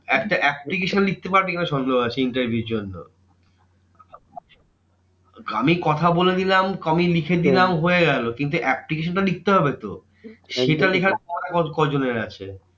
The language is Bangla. একটা application লিখতে পারবে কি না সন্দেহ আছে interview র জন্য। আমি কথা বলে দিলাম আমি লিখে দিলাম হয়ে গেলো কিন্তু application টা তো লিখতে হবে তো। সেটা লেখার কজনের আছে?